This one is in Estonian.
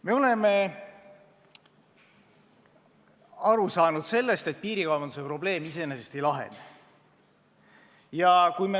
Me oleme aru saanud, et piirikaubanduse probleem iseenesest ei lahene.